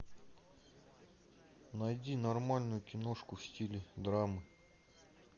найди нормальную киношку в стиле драмы